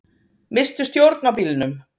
Misstu stjórn á bílnum